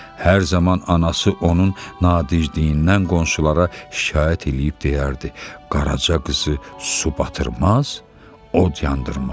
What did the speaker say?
Hər zaman anası onun nadinciliyindən qonşulara şikayət eləyib deyərdi: Qaraca qızı su batırmaz, od yandırmaz.